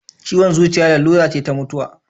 Ciwon zuciya larura ce ta mutuwa.